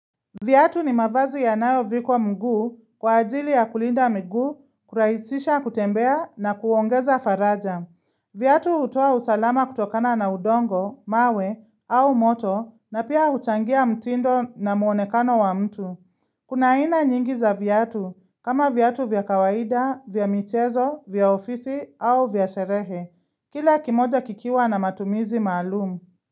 Viatu ni mavazi yanayo vikwa mguu kwa ajili ya kulinda mguu, kurahisisha kutembea na kuongeza faraja. Viatu hutoa usalama kutokana na udongo, mawe au moto na pia huchangia mtindo na muonekano wa mtu. Kuna aina nyingi za vyatu kama vyatu vya kawaida, vya michezo, vya ofisi au vya sherehe. Kila kimoja kikiwa na matumizi maalumu.